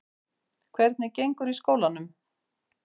Hvernig gengur í skólanum?